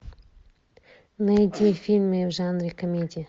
найди фильмы в жанре комедия